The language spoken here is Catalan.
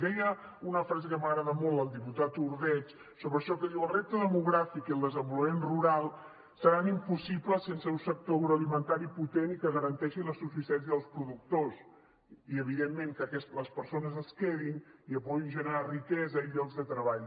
i deia una frase que m’agrada molt el diputat ordeig sobre això que diu el repte demogràfic i el desenvolupament rural seran impossibles sense un sector agroalimentari potent i que garanteixi la subsistència dels productors i evidentment que les persones es quedin i puguin generar riquesa i llocs de treball